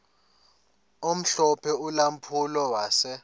omhlophe ulampulo wase